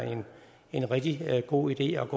en rigtig god idé at